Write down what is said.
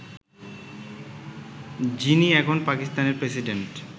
যিনি এখন পাকিস্তানের প্রেসিডেন্ট